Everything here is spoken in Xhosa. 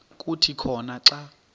kuthi khona xa